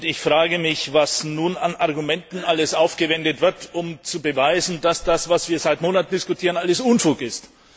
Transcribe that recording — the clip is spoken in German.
Ich frage mich, was nun an Argumenten alles aufgewendet wird, um zu beweisen, dass das, was wir seit Monaten diskutieren, alles Unfug ist.